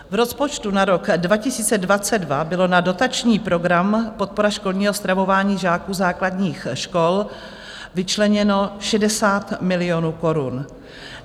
V rozpočtu na rok 2022 bylo na dotační program Podpora školního stravování žáků základních škol vyčleněno 60 milionů korun.